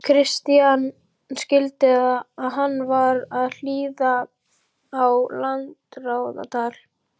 Christian skildi að hann var að hlýða á landráðatal.